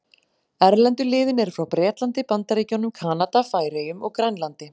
Erlendu liðin eru frá Bretlandi, Bandaríkjunum, Kanada, Færeyjum og Grænlandi.